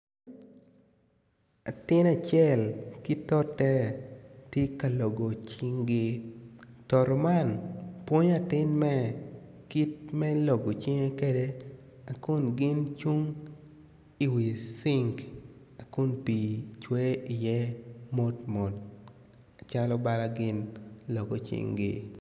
Atin acel ki tote tye ka logo cinggi toto man pwonyo atin me kit me logo cing kede akun gin cung iwi cing akun pii cwer iye motmot acalo bala gin logo cinggi